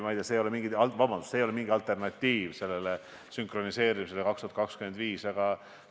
See ei ole mingisugune alternatiiv sünkroniseerimisele 2025. aastal.